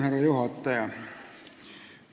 Härra juhataja!